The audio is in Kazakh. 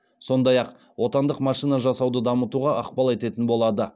сондай ақ отандық машина жасауды дамытуға ықпал ететін болады